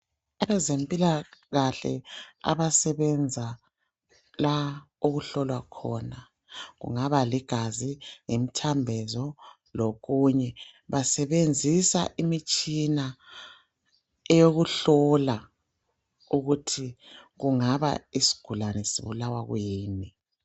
Abezempilakahle abasebenza la okuhlolwa khona kungaba ligazi lemthambiso lokunye basebenzisa imitshina eyokuhlola ukuthi kungaba isigulani sibulawa kuyini.